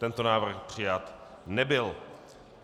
Tento návrh přijat nebyl.